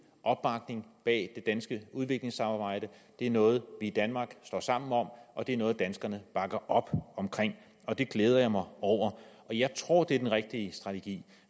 opbakning bag det danske udviklingssamarbejde det er noget vi i danmark står sammen om og det er noget danskerne bakker op om og det glæder jeg mig over jeg tror at det er den rigtige strategi